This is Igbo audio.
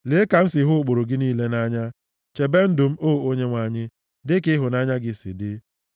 Lee ka m si hụ ụkpụrụ gị niile nʼanya; chebe ndụ m, o Onyenwe anyị, dịka ịhụnanya gị si dị.